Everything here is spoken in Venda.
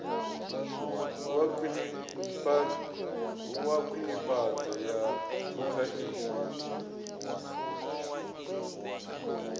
wa khwinifhadzo ya phukha i